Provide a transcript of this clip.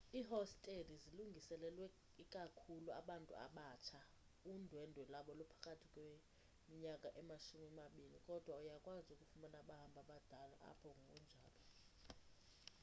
iihosteli zilungiselelwe ikakhulu abantu abatsha undwendwe lwabo luphakathi kweninyaka emashumi mabini kodwa uyakwazi ukufumana abahambi abadala apho ngokunjalo